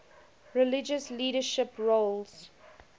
religious leadership roles